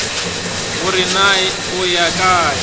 gore na o ya kae